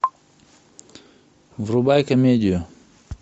врубай комедию